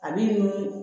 A b'i dun